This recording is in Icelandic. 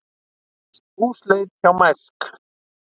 Húsleit hjá Mærsk